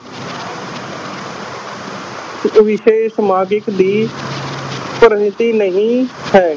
ਵਿਸ਼ੇ ਸਮਾਜਕ ਦੀ ਪ੍ਰਗਤੀ ਨਹੀਂ ਹੈ।